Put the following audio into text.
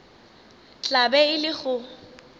tla be e le go